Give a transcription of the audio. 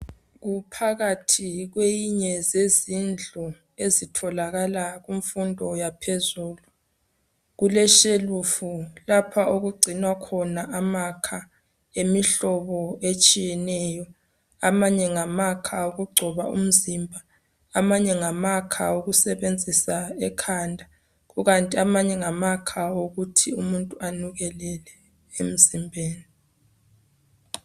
Kuphakathi kweyinye yezindlu ezitholakala kufundo yaphezulu. Kuleshelufu lapha okugcinwa khona amakha emihlobo etshiyeneyo. Amanye ngamakha okugcoba umzimba, Amanye ngamakha okusebenzisa ekanda. Kukanti amanye ngamakha okuthi umuntu anukelele emzimbeni.